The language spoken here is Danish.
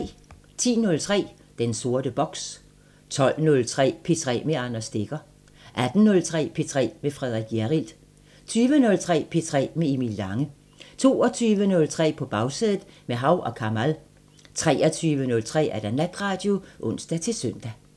10:03: Den sorte boks 12:03: P3 med Anders Stegger 18:03: P3 med Frederik Hjerrild 20:03: P3 med Emil Lange 22:03: På Bagsædet – med Hav & Kamal 23:03: Natradio (søn-ons)